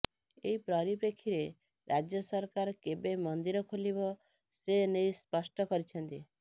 ଏହି ପରୀପ୍ରେକ୍ଷୀରେ ରାଜ୍ୟ ସରକାର କେବେ ମନ୍ଦିର ଖୋଲିବ ସେ ନେଇ ସ୍ପଷ୍ଟ କରିଛନ୍ତି